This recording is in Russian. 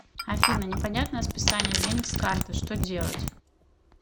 афина непонятное списание денег с карты что делать